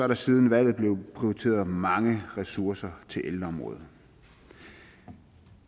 der siden valget blevet prioriteret mange ressourcer til ældreområdet